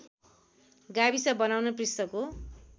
गाविस बनाउन पृष्ठको